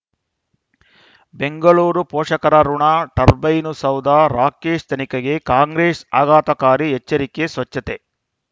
ಬೆಂಗಳೂರು ಪೋಷಕರಋಣ ಟರ್ಬೈನು ಸೌಧ ರಾಕೇಶ್ ತನಿಖೆಗೆ ಕಾಂಗ್ರೆಸ್ ಆಘಾತಕಾರಿ ಎಚ್ಚರಿಕೆ ಸ್ವಚ್ಛತೆ